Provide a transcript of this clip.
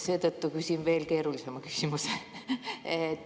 Seetõttu küsin veel keerulisema küsimuse.